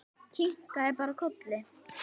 Kinkaði bara kolli.